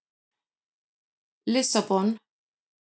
Lissabon